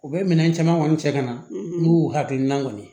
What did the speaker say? U bɛ minɛn caman kɔni cɛ ka na n'u y'u hakilina kɔni